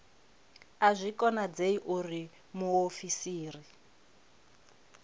a zwi konadzei uri muofisiri